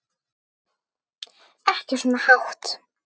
Ekki svona hátt.